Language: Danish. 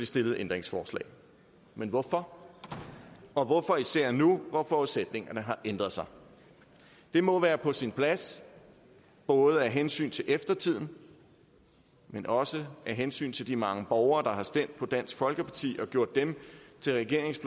stillede ændringsforslag men hvorfor og især hvorfor nu hvor forudsætningerne har ændret sig det må være på sin plads både af hensyn til eftertiden men også af hensyn til de mange borgere der har stemt på dansk folkeparti og gjort dem til regeringens